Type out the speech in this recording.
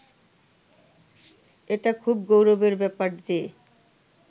এটা খুব গৌরবের ব্যাপার যে